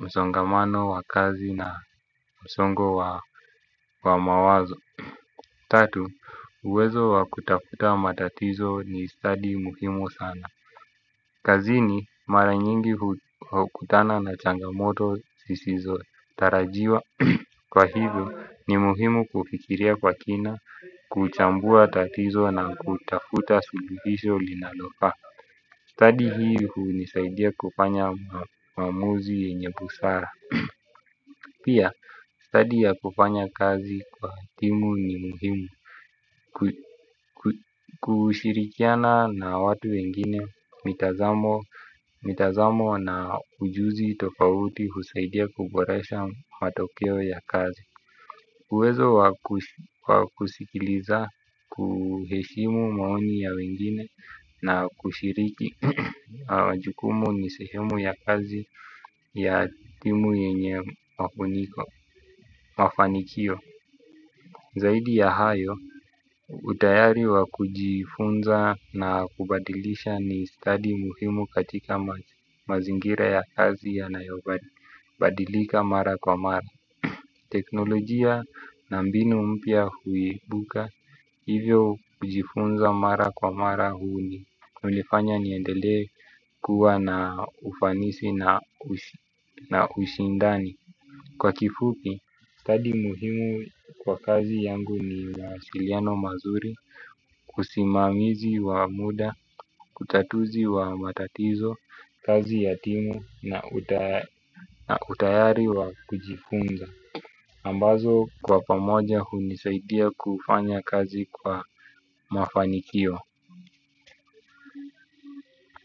msongamano wa kazi na msongo wa mawazo. Tatu, uwezo wa kutafuta matatizo ni study muhimu sana. Kazini, mara nyingi hukutana na changamoto zisizotarajiwa kwa hivyo ni muhimu kufikiria kwa kina, kuchambua tatizo na kutafuta suluhisho linalofaa. Study hii hunisaidia kufanya maamuzi yenye busara. Pia, study ya kufanya kazi kwa timu ni muhimu. Kushirikiana na watu wengine mitazamo na ujuzi tofauti husaidia kuboresha matokeo ya kazi. Uwezo wa kusikiliza kuheshimu maoni ya wengine na kushiriki majukumu ni sehemu ya kazi ya timu yenye mafanikio. Zaidi ya hayo utayari wa kujifunza na kubadilisha ni study muhimu katika mazingira ya kazi yanayobadi. Badilika mara kwa mara. Teknolojia na mbinu mpya huibuka hivyo kujifunza mara kwa mara hunifanya niendelee kuwa na ufanisi na ushindani. Kwa kifupi, study muhimu kwa kazi yangu ni mawasiliano mazuri. Usimamizi wa muda, utatuzi wa matatizo, kazi ya timu na utayari wa kujifunza ambazo kwa pamoja hunisaidia kufanya kazi kwa mafanikio.